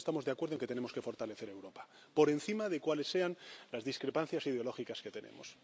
Todos estamos de acuerdo en que tenemos que fortalecer Europa, por encima de cuáles sean las discrepancias ideológicas que tenemos.